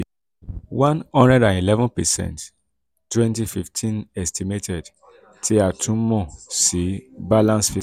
one hundred and eleven percent twenty fifteen estimated tí a tún mọ̀ sí balance